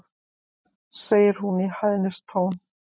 segir hún í hæðnistón.